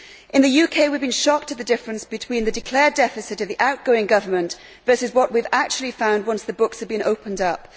In the UK, we have been shocked at the difference between the declared deficit of the outgoing government and what we have actually found once the books have been opened up.